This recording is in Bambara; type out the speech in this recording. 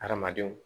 Hadamadenw